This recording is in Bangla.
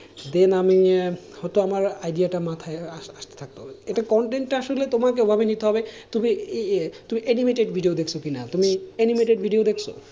Then আমি হয়তো আমার idea টা মাথায় আস্তে থাকতো, এটা content টা আসলে তোমাকে ওইভাবে নিতে হবে তুমি তুমি animated video দেখছো কি না, তুমি animated video দেখছো,